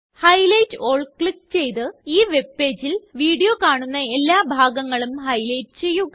highlight ആൽ click ചെയ്ത് ഈ വെബ് പേജിൽ വീഡിയോ കാണുന്ന എല്ലാ ഭാഗങ്ങളും ഹൈലൈറ്റ് ചെയ്യുക